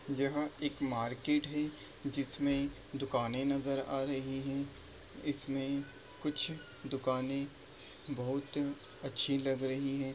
यहां एक मार्किट है जिसमें दुकाने नजर आ रही हैं इसमें कुछ दुकाने बोहोत अच्छी लग रही हैं ।